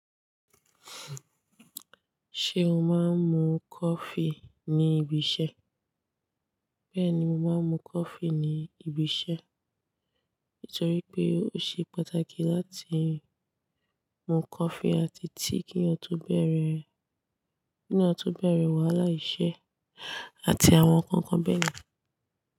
Ṣé o máa ń mu coffee ní ibi iṣẹ́? Bẹ́ẹ̀ni, mo máa ń mu coffee ní ibi iṣẹ́, nítorí pé ó ṣe pàtàkì láti mu coffee àti tíì kí eyan to bẹ̀rẹ̀, ki eyan to bẹ̀rẹ̀ wàhálà iṣẹ́ àti àwọn nǹkan kan bẹ́ẹ̀ lọ.